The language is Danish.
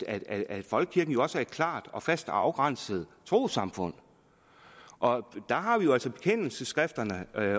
at folkekirken også er et klart og fast og afgrænset trossamfund der har vi jo altså bekendelsesskrifterne at